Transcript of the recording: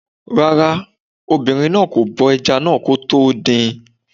Rárá, obìnrin náà kò bọ ẹja náà kó tó dín in